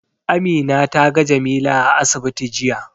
Amina ta ga Jamila a asibiti jiya.